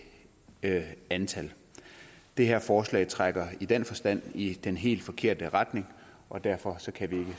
det antal det her forslag trækker i den forstand i den helt forkerte retning og derfor kan